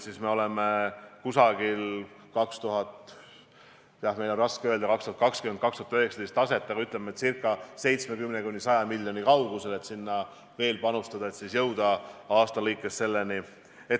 Me oleme, ütleme, jämedalt circa 70–100 miljoni kaugusel, mida tuleb veel panustada, et siis jõuda aasta jooksul selleni.